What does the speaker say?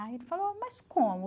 Aí ele falou, mas como?